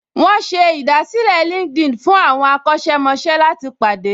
Wọ́n ṣe ìdásílẹ̀ LinkedIn fún àwọn akọ́ṣẹ́mọṣẹ́ láti pàdé